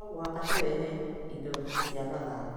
No mũhaka tũrehe indo cia mathako.